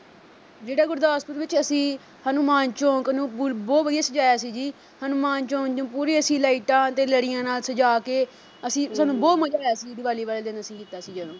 ਜਿਹੜਾ ਗੁਰਦਾਸਪੁਰ ਵਿੱਚ ਅਸੀਂ ਹਨੂੰਮਾਨ ਚੌਂਕ ਨੂੰ ਬਲ ਅਹ ਬਹੁਤ ਵਧੀਆ ਸਜਾਇਆ ਸੀ ਜੀ ਹਨੂੰਮਾਨ ਚੌਂਕ ਨੂੰ ਪੂਰੀ ਅਸੀਂ lights ਤੇ ਲੜੀਆਂ ਨਾਲ ਸਜ਼ਾ ਕੇ ਅਸੀਂ ਸਾਨੂੰ ਬਹੁਤ ਮਜ਼ਾ ਆਇਆ ਸੀ ਜੀ ਦਿਵਾਲੀ ਵਾਲੇ ਦਿਨ ਅਸੀਂ ਕੀਤਾ ਸੀ ਜਦੋਂ